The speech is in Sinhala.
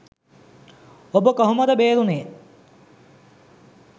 ඔබ කොහොමද බේරුනේ?